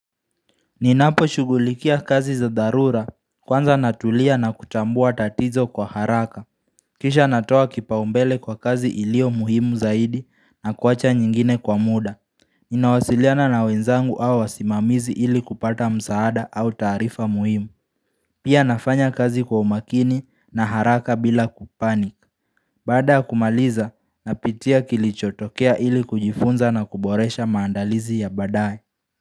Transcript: Ninapo shugulikia kazi za darura kwanza natulia na kutambua tatizo kwa haraka. Kisha natoa kipaumbele kwa kazi ilio muhimu zaidi na kuwacha nyingine kwa muda. Inawasiliana na wenzangu au wasimamizi ili kupata msaada au tarifa muhimu. Pia nafanya kazi kwa umakini na haraka bila kupanik. Bada ya kumaliza napitia kilichotokea ili kujifunza na kuboresha maandalizi ya badaye.